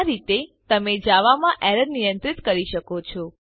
આ રીતે તમે જાવામાં એરર નિયંત્રિત કરી શકો છો